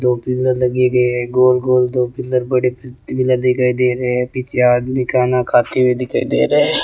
टोपिया लगी हुई है गोल गोल टोपिया दिखाई दे रहे हैं पीछे आदमी खाना खाते हुए दिखाई दे रहे --